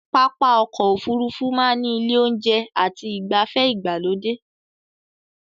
Pápá ọkọ̀ Òfurufú máa ní ilé oúnjẹ àti igbafe ìgbàlódé